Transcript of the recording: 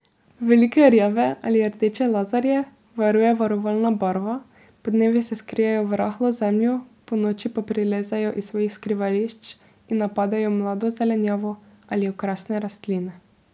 Velike rjave ali rdeče lazarje varuje varovalna barva, podnevi se skrijejo v rahlo zemljo, ponoči pa prilezejo iz svojih skrivališč in napadejo mlado zelenjavo ali okrasne rastline.